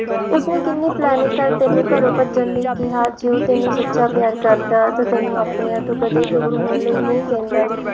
ਉਸਨੇ ਕਿੰਨੀ planning ਕਰ ਤੈਨੂੰ ਘਰੋਂ ਭੱਜਣ ਲਈ ਕਿਹਾ ਜੇ ਉਹ ਤੈਨੂੰ ਸੱਚਾ ਪਿਆਰ ਤਾਂ ਤੈਨੂੰ ਆਪਣਿਆਂ ਤੋਂ ਦੂਰ ਹੋਣ ਲਈ ਕਹਿੰਦਾ